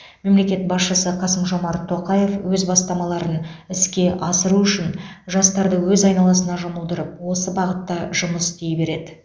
мемлекет басшысы қасым жомарт тоқаев өз бастамаларын іске асыру үшін жастарды өз айналасына жұмылдырып осы бағытта жұмыс істей береді